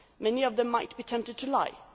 Many of them might be tempted to lie.